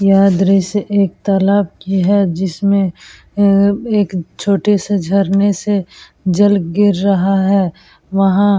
यह दृश्य एक तालाब की है जिसमें अअ एक छोटे से झरने से जल गिर रहा है। वहां --